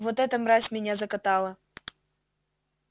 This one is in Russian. вот эта мразь меня закатала